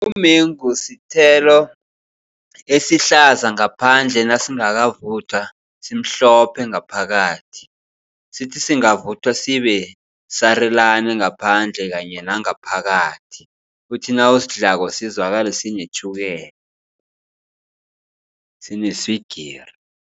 Umengu sithelo esihlaza ngaphandle nasingakavuthwa simhlophe ngaphakathi. Sithi singavuthwa sibe sarulani ngaphandle kanye nangaphakathi. Uthi nawusidlako sizwakale sinetjhukela, sineswigiri.